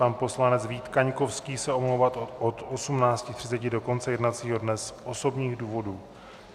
Pan poslanec Vít Kaňkovský se omlouvá od 18.30 do konce jednacího dne z osobních důvodů.